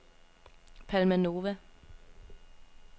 Palma Nova